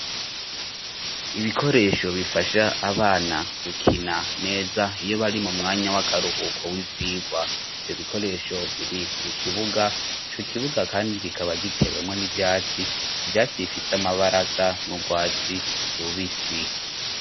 Ibikoresho bifasha abana gukina neza iyo bari mu mwanya w'akaruhuko w'ivyigwa ivyo bikoresho biri mu kibuga ico kibuga kandi kikaba gitewemwo n'ivyatsi ivyatsi bifise amabara asa n'urwatsi rubisi.